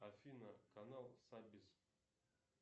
афина канал сабис